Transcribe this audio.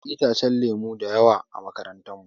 Akwai itacen lemu da yawa a makarantar mu.